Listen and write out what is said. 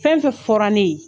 Fɛn fɛn fɔra ne y"en.